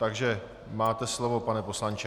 Takže máte slovo, pane poslanče,